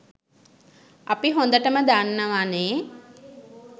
අපි හොඳටම දන්නවනේ